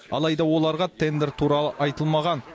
алайда оларға тендер туралы айтылмаған